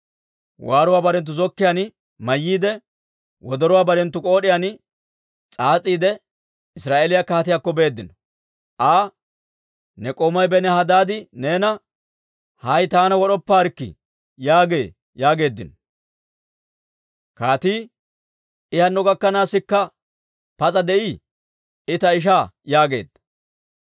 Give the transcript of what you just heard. Waaruwaa barenttu zokkiyaan mayyiide, wodoruwaa barenttu k'ood'iyaan s'aas'iide, Israa'eeliyaa kaatiyaakko beeddino. Aa, «Ne k'oomay Benihadaadi neena, ‹Hay taana wod'oppaarikkii› yaagee» yaageeddino. Kaatii, «I hanno gakkanaasikka pas'a de'ii? I ta ishaa» yaageedda.